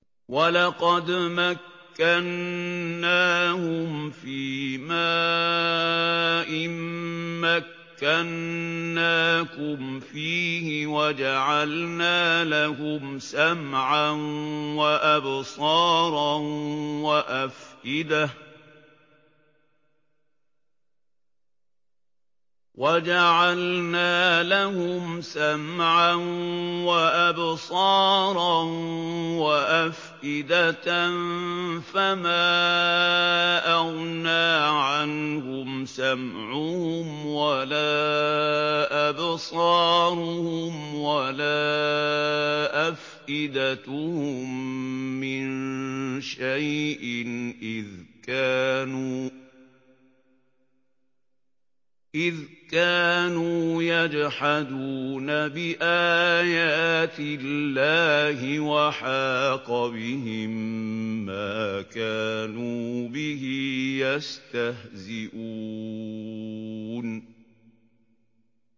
وَلَقَدْ مَكَّنَّاهُمْ فِيمَا إِن مَّكَّنَّاكُمْ فِيهِ وَجَعَلْنَا لَهُمْ سَمْعًا وَأَبْصَارًا وَأَفْئِدَةً فَمَا أَغْنَىٰ عَنْهُمْ سَمْعُهُمْ وَلَا أَبْصَارُهُمْ وَلَا أَفْئِدَتُهُم مِّن شَيْءٍ إِذْ كَانُوا يَجْحَدُونَ بِآيَاتِ اللَّهِ وَحَاقَ بِهِم مَّا كَانُوا بِهِ يَسْتَهْزِئُونَ